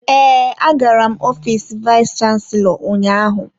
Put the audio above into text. Ee, agara m ofiisi vayis chansilọ ụnyaahụ.